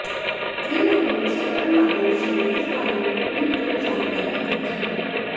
trade analyst Taran Adarsh ने इस बारे में ट्वीट कर जानकारी दी थी